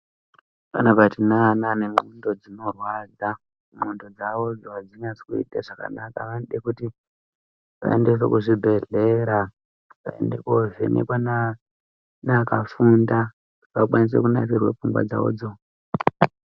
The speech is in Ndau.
Panapa tine ana ane ndxondo dzinorwadza. Ndxondo dzavodzo adzinasi kuite zvakanaka. Vanode kuti vaendeswe kuzvibhedhlera, vaende kovhenekwa na naakakufunda kuti vakwanise kunasirwe pfungwa dzavodzo.